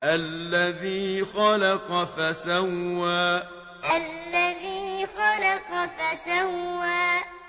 الَّذِي خَلَقَ فَسَوَّىٰ الَّذِي خَلَقَ فَسَوَّىٰ